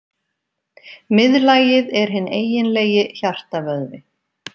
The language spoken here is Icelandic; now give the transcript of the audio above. Miðlagið er hinn eiginlegi hjartavöðvi.